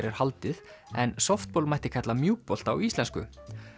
er haldið en mætti kalla á íslensku